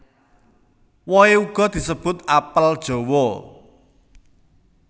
Wohe uga disebut apel jawa